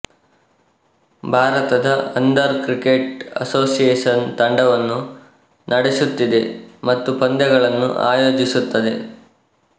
ಭಾರತದ ಅಂಧರ cricket association ತಂಡವನ್ನು ನಡೆಸುತ್ತಿದೆ ಮತ್ತು ಪಂದ್ಯಗಳನ್ನು ಆಯೋಜಿಸುತ್ತದೆ